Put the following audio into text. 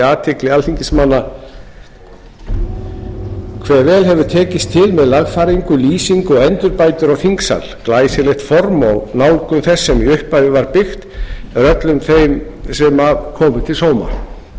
athygli alþingismanna hve vel hefur til tekist með lagfæringu lýsingu og endurbætur á þingsal glæsilegt form og nálgun þess sem í upphafi var byggt er öllum þeim sem að komu til sóma